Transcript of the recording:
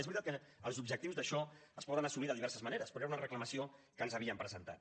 és veritat que els objectius d’això es poden assolir de diverses maneres però era una reclamació que ens havien presentat